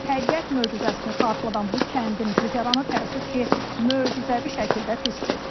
Təbiət möcüzəsini xatırladan bu kəndin güzəranı təəssüf ki, möcüzəvi şəkildə pisdir.